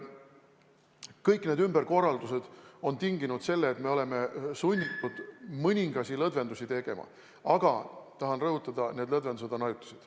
Kõik need ümberkorraldused on tinginud selle, et me oleme sunnitud mõningaid lõdvendusi tegema, aga tahan rõhutada, et need lõdvendused on ajutised.